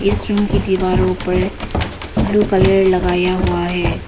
इस रूम की दीवारों पर ब्लू कलर लगाया हुआ है।